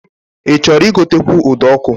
Ị chọrọ igotekwu ụdọọkụ?